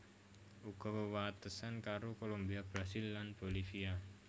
Uga wewatesan karo Kolombia Brasil lan Bolivia